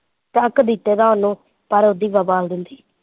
ਚੱਕ ਤੀ ਜਗ੍ਹਾ ਹੁਣ ਪਰ ਉਹਦੀ